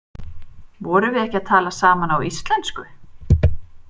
Vorum við ekki að tala saman á íslensku?